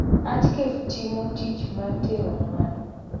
artcafe timo tich mar tero mwandu